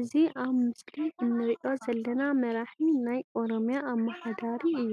እዚ ኣብ ምስሊ እንሪኦ ዘለና መራሒ ናይ ኦሮሚያ ኣመሓዳሪ እዩ።